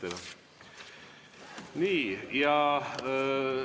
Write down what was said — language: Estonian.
Aitäh teile!